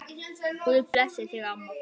Guð blessi þig, amma.